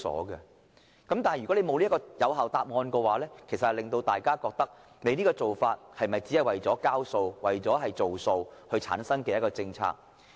如果當局未能提供有效答案，大家難免會認為，這只不過是為了"交數"和"做數"而制訂的政策。